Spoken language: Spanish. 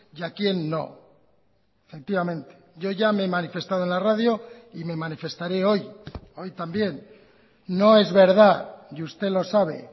y a quien no efectivamente yo ya me he manifestado en la radio y me manifestaré hoy hoy también no es verdad y usted lo sabe